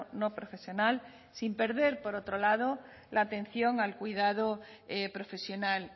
no profesional sin perder por otro lado la atención al cuidado profesional